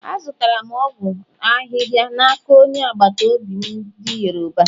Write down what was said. Azụtara m ọgwụ ahịhịa n’aka onye agbata obi m ndị Yoruba.